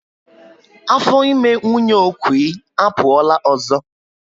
Afọ ime nwunye Okwy apuola ọzọ